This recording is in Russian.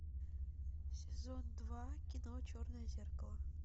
сезон два кино черное зеркало